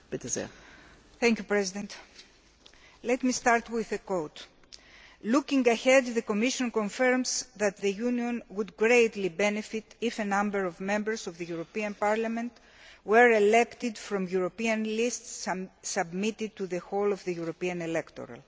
Madam President, let me start with a quote looking ahead, the Commission confirms that the Union would greatly benefit if a number of Members of the European Parliament were elected from European lists submitted to the whole of the European electorate.'